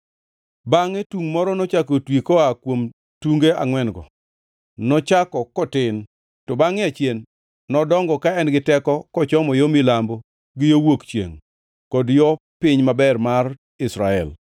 Bangʼe tungʼ moro nochako otwi koa kuom tunge angʼwen-go, nochako kotin to bangʼe achien nodongo ka en gi teko kochomo yo milambo gi yo wuok chiengʼ kod yo Piny Maber mar Israel.